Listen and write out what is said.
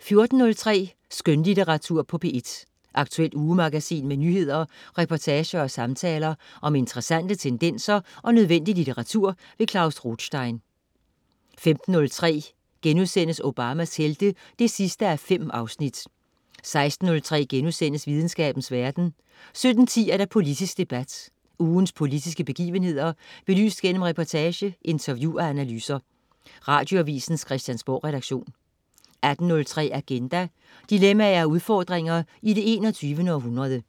14.03 Skønlitteratur på P1. Aktuelt ugemagasin med nyheder, reportager og samtaler om interessante tendenser og nødvendig litteratur. Klaus Rothstein 15.03 Obamas helte 5:5* 16.03 Videnskabens verden* 17.10 Politisk debat. Ugens politiske begivenheder belyst gennem reportage, interview og analyser. Radioavisens Christiansborgredaktion 18.03 Agenda. Dilemmaer og udfordringer i det 21. århundrede